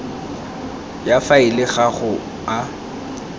ya faele ga go a